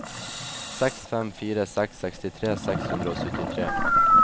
seks fem fire seks sekstitre seks hundre og syttitre